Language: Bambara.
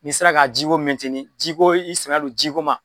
N'i sera ka jiko jiko i sɛmɛ don jiko ma.